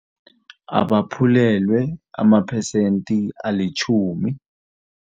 Abaphulelwe amaphesenti alitjhumi.